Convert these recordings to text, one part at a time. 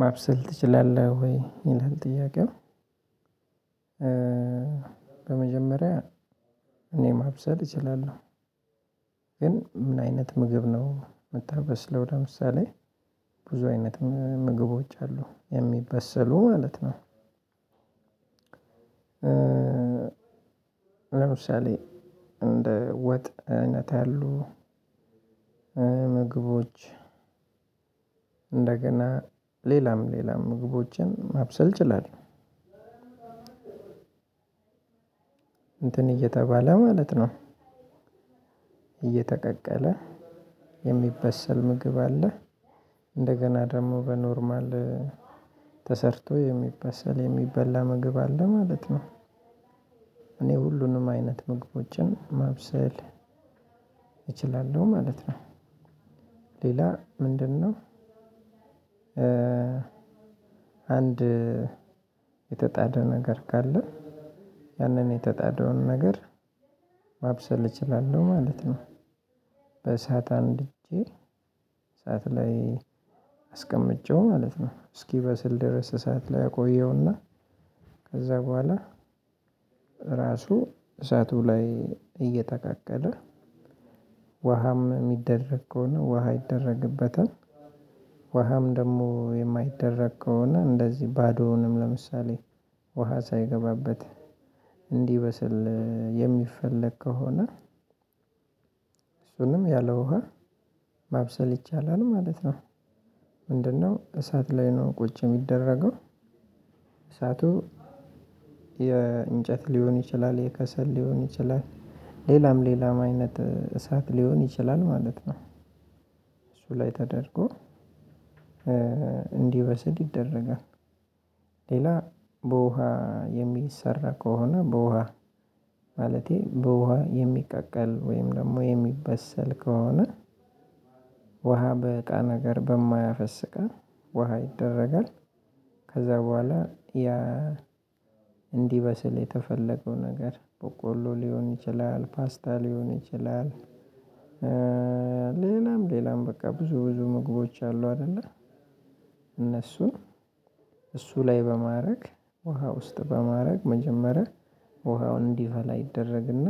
"ማብሰል ትችላለህ ወይ?" ይላል ጥያቄው፣ በመጀመሪያ እኔ ማብሰል እችላለሁ፤ ግን ምን አይነት ምግብ ነው የምታበስለው ለምሳሌ ብዙ አይነት ምግቦች አሉ የሚበሰሉ ማለት ነው። ለምሳሌ እንደ ወጥ አይነት ያሉ ምግቦች እንደገና ሌላም ሌላም ምግቦችን ማብሰል እችላለሁ። እንትን እየተባለ ማለት ነው እየተቀቀለ የሚበሰል ምግብ አለ። እንደገና ደግሞ በኖርማል ተሰርቶ የሚበሰል የሚበላ ምግብ አለ ማለት ነው። እኔ ሁሉንም አይነት ምግቦችን ማብሰል እችላለሁ ማለት ነው። ሌላ ምንድነው አንድ የተጣደ ነገር ካለ ያንን የተጣደውን ነገር ማብሰል እችላለሁ ማለት ነው። በእሳት አንድጄ እሳት ላይ አስቀምጬው ማለት ነው እስኪበስል ድረስ እሳት ላይ አቆየውና ከዛ በኋላ ራሱ እሳቱ ላይ እየተቀቀለ ውሃም የሚደረግ ከሆነ ውሃ ይደረግበታል ውሃም ደግሞ የማይደረግ ከሆነ እንደዚህ ባዶውንም ለምሳሌ ውሃ ሳይገባበት እንዲበስል የሚፈለግ ከሆነ እሱንም ያለ ውሃ ማብሰል ይቻላል ማለት ነው። ምንድነው እሳት ላይ ነው ቁጭ የሚደረገው። እሳቱ የእንጨት ሊሆን ይችላል፣ የከሰል ሊሆን ይችላል፣ ሌላም ሌላም አይነት እሳት ሊሆን ይችላል ማለት ነው እሱ ላይ ተደርጎ እንዲወሰድ ይደረጋል። ሌላ በውሃ የሚሰራ ከሆነ በውሃ ማለቴ በውሃ የሚቀቀል ወይም ደግሞ የሚበሰል ከሆነ ውሃ በእቃ ነገር በማያፈስ እቃ ውሃ ይደረጋል። ከዛ በኋላ ያ እንዲበስል የተፈለገው ነገር በቆሎ ሊሆን ይችላል፣ ፓስታ ሊሆን ይችላል፣ ሌላም ሌላም በቃ ብዙ ብዙ ምግቦች አሉ አይደለ እነሱን እሱ ላይ በማድረግ ውሃ ውስጥ በማድረግ መጀመሪያ ውሃው እንዲፈላ ይደረግና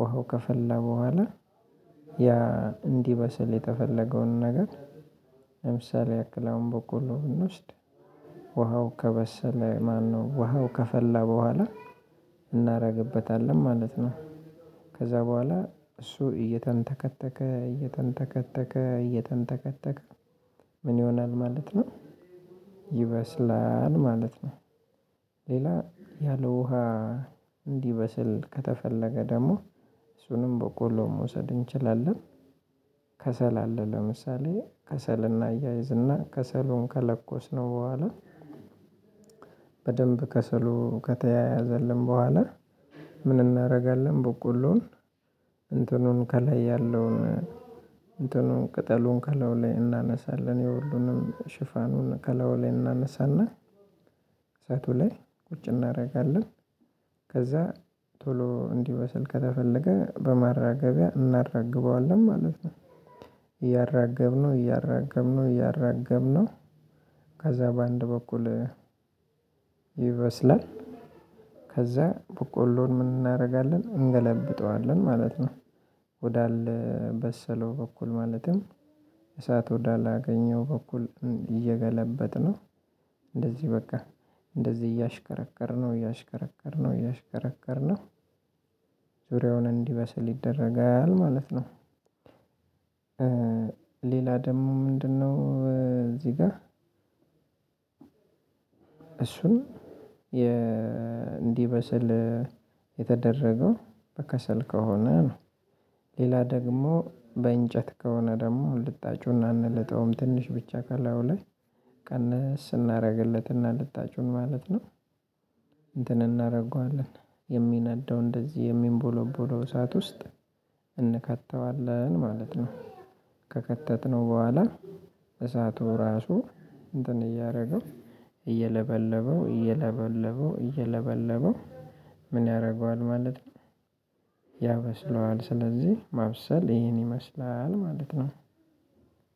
ወሃው ከፈላ በኋላ ያ እንዲበስል የተፈለገውን ነገር ለምሳሌ ያክል አሁን በቆሉ ብንውስድ ውሃው ከበሰለ ማነው ውሃው ከፈላ በኋላ እናደርግበታለን ማለት ነው። ከዛ በኋላ እሱ እየተንተከተከ እየተንተከተከ እየተንተከተከ ምን ይሆናል ማለት ነው ይበስላል ማለት ነው። ሌላ ያለ ውሃ እንዲበስል ከተፈለገ ደግሞ እሱንም በቆሎ መውሰድ እንችላለን። ከሰል አለ ለምሳሌ ከሰል እናያይዝና ከሰሉን ከለኮስነው በኋላ በደንብ ከሰሉ ከተያያዘልን በኋላ ምን እናደርጋለን በቆሎውን እንትኑን ከላይ ያለውን እንትኑን ቅጠሉን ከላዩ ላይ እናነሳለን የሁሉንም ሽፋኑን ከላዩ ላይ እናነሳና እሳቱ ላይ ቁጭ እናደርጋለን። ከዛ ቶሎ እንዲበስል ከተፈለገ በማራገቢያ እናራግበዋለን ማለት ነው። እያራገብነው እያራገብነው እያራገብነው ከዛ በአንድ በኩል ይበስላል። ከዛ በቆሎውን ምን እናደርጋለን? እንገለብጠዋለን ማለት ነው። ወዳልበሰለው በኩል ማለትም እሳት ወዳላገኘው በኩል እየገለበጥነው እንደዚህ በቃ እንደዚህ እያሽከረከርነው እያሽከረከርነው አሽከረከርነው ዙሪያውን እንዲበስል ይደረጋል ማለት ነው። ሌላ ደግሞ ምንድነው እዚህ ጋር እሱም እንዲበስል የተደረገው በከሰል ከሆነ ነው። ሌላ ደግሞ በእንጨት ከሆነ ደግሞ ልጣጩና አንልጠውም ትንሽ ብቻ ካላዩ ላይ ቀነስ እናደርግለትና ልጣጩን ማለት ነው እንትን እናደርገዋለን የሚነደው እንደዚህ የሚንቦለቦለው እሳት ውስጥ እንከተዋለን ማለት ነው። ከከተትነው በኋላ እሳቱ ራሱ እንትን እያደረገው እየለበለበው እየለበለበው እየለበለበው ምን ያደርገዋል ማለት ነው? ያበስለዋል። ስለዚህ ማብሰል ይሄን ይመስላል ማለት ነው።